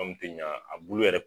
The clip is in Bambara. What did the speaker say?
Anw tɛ ɲan a buku yɛrɛ